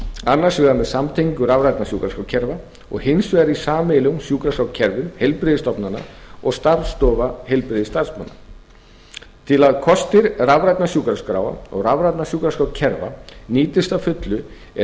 annars vegar með samtengingu rafrænna sjúkraskrárkerfa og hins vegar í sameiginlegum sjúkraskrárkerfum heilbrigðisstofnana og starfsstofa heilbrigðisstarfsmanna til að kostir rafrænna sjúkraskráa og rafrænna sjúkraskrárkerfa nýtist að fullu er